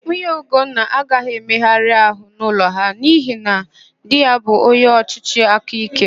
Nwunye Ugonna agaghị emegharịnwu àhụ́ n'ụlọ ha n'ihi na di ya bụ onyeọchịchị aka íké.